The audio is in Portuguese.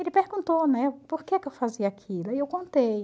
Ele perguntou, né, por que que eu fazia aquilo, aí eu contei.